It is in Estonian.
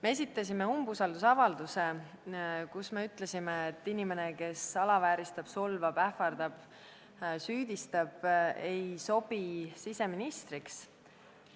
Me esitasime umbusaldusavalduse, kus me ütlesime, et inimene, kes alavääristab, solvab, ähvardab, süüdistab, ei sobi siseministriks.